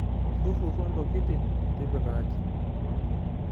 Ntururo ntokitin tipika aji.